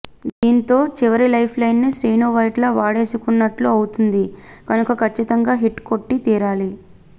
దీంతో చివరి లైఫ్ లైన్ని శ్రీను వైట్ల వాడేసుకున్నట్టు అవుతుంది కనుక ఖచ్చితంగా హిట్ కొట్టి తీరాలి